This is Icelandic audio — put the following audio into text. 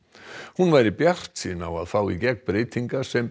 hún væri bjartsýn á að fá í gegn breytingar sem